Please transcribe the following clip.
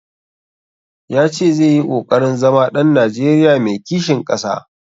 Ya ce zai yi ƙoƙarin zama ɗan Najeriya mai kishin ƙasa.